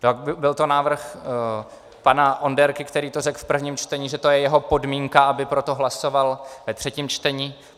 Byl to návrh pana Onderky, který to řekl v prvním čtení, že to je jeho podmínka, aby pro to hlasoval ve třetím čtení.